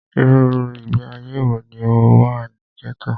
Irú ìgbé ayé wọ ní o wà ní gẹ́tò?